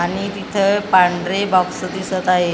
आणि तिथं पांढरे बॉक्स दिसत आहेत .